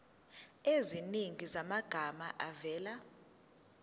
eziningi zamagama avela